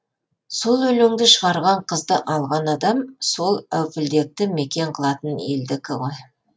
сол өлеңді шығарған қызды алған адам сол әупілдекті мекен қылатын елдікі ғой